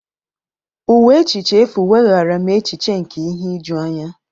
Ụwa echiche efu weghaara m echiche nke ihe ijuanya.